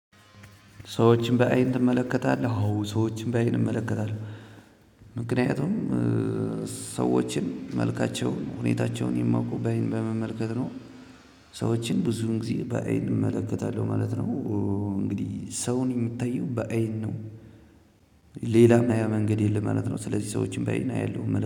ሰዎችን በአይን ትመለከታለህ? አዎ ሰዎችን በአይን እመለከታለሁ ምክኒያቱም ሰዎችን መልካቸውን፣ ሁኔታቸውን የማውቀው በመመልከት ነው ሰዎችን ብዙን ጊዜ በአይን እመለከታለሁ ማለት ነው እንግዲህ ሰው ሚታየው በአይን ነው ሌላም ማያ መንገድ የለም ማለት ነው ስለዚህ ሰዎችን በአይን አያለሁ